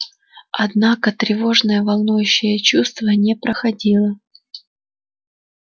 однако тревожное волнующее чувство не проходило